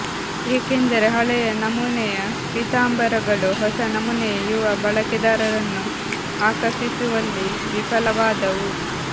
ಏಕೆಂದರೆ ಹಳೆಯ ನಮೂನೆಯ ಪೀತಾಂಬರಗಳು ಹೊಸ ನಮೂನೆಯ ಯುವ ಬಳಕೆದಾರರನ್ನು ಆಕರ್ಷಿಸುವಲ್ಲಿ ವಿಫಲವಾದವು